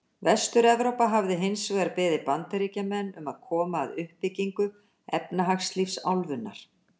Vestur-Evrópa hafi hins vegar beðið Bandaríkjamenn um að koma að uppbyggingu efnahagslífs álfunnar.